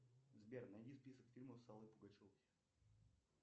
сбер найди список фильмов с аллой пугачевой